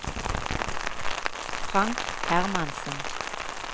Frank Hermansen